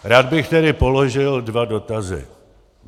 Rád bych tedy položil dva dotazy: